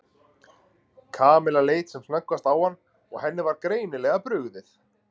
Kamilla leit sem snöggvast á hann og henni var greinilega brugðið.